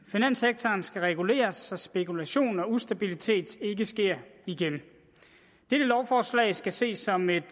finanssektoren skal reguleres så spekulation og ustabilitet ikke sker igen dette lovforslag skal ses som et